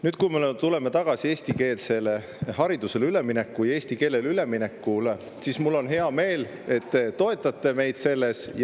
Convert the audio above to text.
Nüüd, kui me tuleme tagasi eestikeelsele haridusele ülemineku juurde, eesti keelele ülemineku juurde, siis mul on hea meel, et te toetate meid selles.